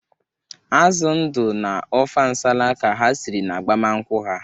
Azụ ndụ na ọfa nsala ka ha siri n'agbamnkwu ha.